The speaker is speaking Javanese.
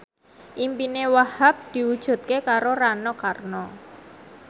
impine Wahhab diwujudke karo Rano Karno